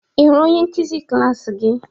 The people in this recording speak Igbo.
Ị hụrụ onye nkuzi klas gị?